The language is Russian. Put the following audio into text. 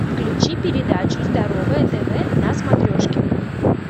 включи передачу здоровое тв на смотрешке